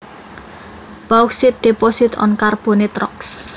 Bauxite deposits on carbonate rocks